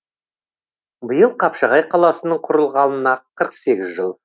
биыл қапшағай қаласының құрылғанына қырық сегіз жыл